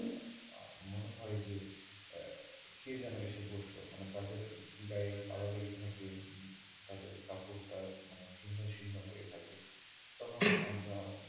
মনে হয় যে আহ কে যেন এসে বসল মানে তাদের গায়ে কাদা লেগে থাকে তাদের কাপড়টা মানে ছিন্ন সিন্ন হয়ে থাকে তখন আমরা,